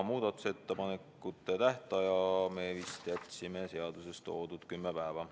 Muudatusettepanekute tähtajaks me vist jätsime seaduses toodud kümme päeva.